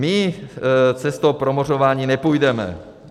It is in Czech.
My cestou promořování nepůjdeme.